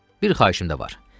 Bir xahişim də var.